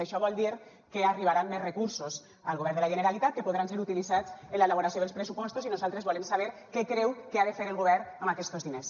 això vol dir que arribaran més recursos al govern de la generalitat que podran ser utilitzats en l’elaboració dels pressupostos i nosaltres volem saber què creu que ha de fer el govern amb aquests diners